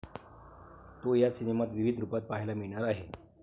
तो या सिनेमात विविध रुपात पाहायला मिळणार आहे.